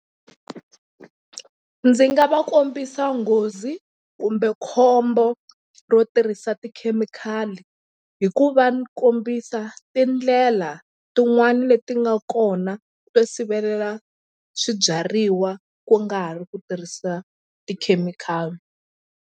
Ndzi nga va kombisa nghozi kumbe khombo ro tirhisa tikhemikhali hi ku va ni kombisa tindlela tin'wani leti nga kona to sivelela swibyariwa ku nga ri ku tirhisa tikhemikhali.